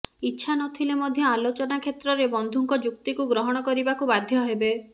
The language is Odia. ଇଚ୍ଛା ନ ଥିଲେ ମଧ୍ୟ ଆଲୋଚନା କ୍ଷେତ୍ରରେ ବନ୍ଧୁଙ୍କ ଯୁକ୍ତିକୁ ଗ୍ରହଣ କରିବାକୁ ବାଧ୍ୟ ହେବେ